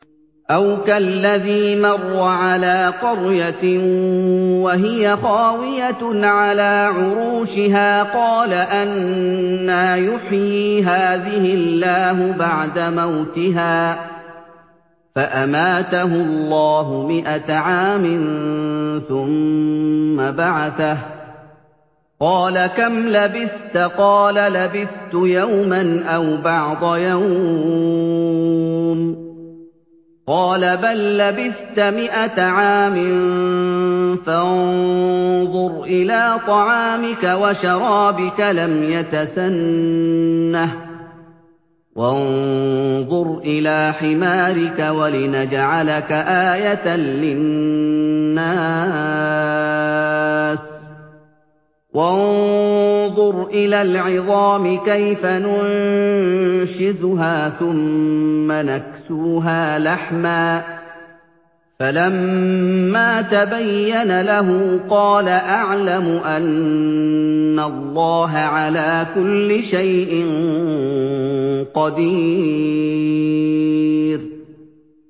أَوْ كَالَّذِي مَرَّ عَلَىٰ قَرْيَةٍ وَهِيَ خَاوِيَةٌ عَلَىٰ عُرُوشِهَا قَالَ أَنَّىٰ يُحْيِي هَٰذِهِ اللَّهُ بَعْدَ مَوْتِهَا ۖ فَأَمَاتَهُ اللَّهُ مِائَةَ عَامٍ ثُمَّ بَعَثَهُ ۖ قَالَ كَمْ لَبِثْتَ ۖ قَالَ لَبِثْتُ يَوْمًا أَوْ بَعْضَ يَوْمٍ ۖ قَالَ بَل لَّبِثْتَ مِائَةَ عَامٍ فَانظُرْ إِلَىٰ طَعَامِكَ وَشَرَابِكَ لَمْ يَتَسَنَّهْ ۖ وَانظُرْ إِلَىٰ حِمَارِكَ وَلِنَجْعَلَكَ آيَةً لِّلنَّاسِ ۖ وَانظُرْ إِلَى الْعِظَامِ كَيْفَ نُنشِزُهَا ثُمَّ نَكْسُوهَا لَحْمًا ۚ فَلَمَّا تَبَيَّنَ لَهُ قَالَ أَعْلَمُ أَنَّ اللَّهَ عَلَىٰ كُلِّ شَيْءٍ قَدِيرٌ